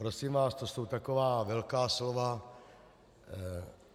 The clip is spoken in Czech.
Prosím vás, to jsou taková velká slova.